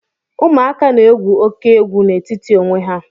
Ụmụaka na-egwu óké egwu n'etiti onwe ha